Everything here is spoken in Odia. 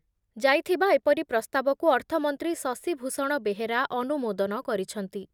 ଯାଇଥିବା ଏପରି ପ୍ରସ୍ତାବକୁ ଅର୍ଥମନ୍ତ୍ରୀ ଶଶିଭୂଷଣ ବେହେରା ଅନୁମୋଦନ କରିଛନ୍ତି ।